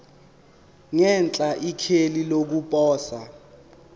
ngenhla ikheli lokuposa